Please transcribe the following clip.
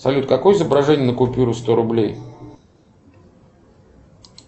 салют какое изображение на купюре сто рублей